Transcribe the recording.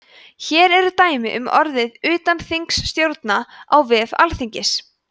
hér eru dæmi um orðið utanþingsstjórn á vef alþingis